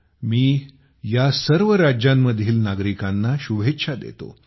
मी या सर्व राज्यांतील नागरिकांना शुभेच्छा देतो